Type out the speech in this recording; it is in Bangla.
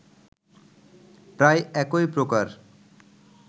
প্রায় একই প্রকার